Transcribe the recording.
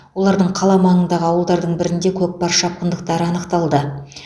олардың қала маңындағы ауылдардың бірінде көкпар шапқындықтары анықталды